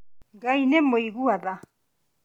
Ngai nĩ mũigua tha